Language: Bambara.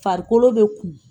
Farikolo bɛ kunmu.